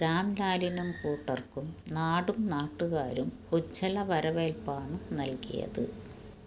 രാംലാലിനും കൂട്ടര്ക്കും നാടും നാട്ടുകാരും ഉജ്വല വരവേല്പ്പാണ് നല്കിയത്